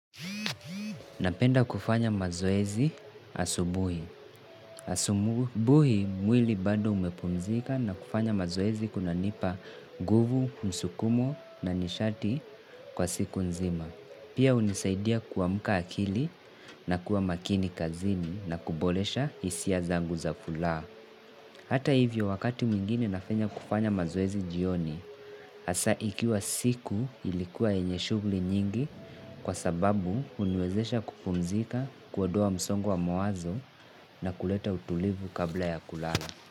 Napenda kufanya mazoezi asubuhi. Asubuhi mwili bando umepumzika na kufanya mazoezi kunanipa nguvu, msukumo na nishati kwa siku nzima. Pia unisaidia kuwamuka akili na kuwa makini kazini nakubolesha isia zangu zafula. Hata hivyo wakati muingine nafanya kufanya mazoezi jioni, asa ikiwa siku ilikuwa enye shugli nyingi kwa sababu uniwezesha kupumzika kuodoa msongo wa mawazo na kuleta utulivu kabla ya kulala.